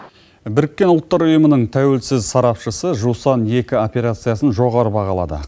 біріккен ұлттар ұйымының тәуелсіз сарапшысы жусан екі операциясын жоғары бағалады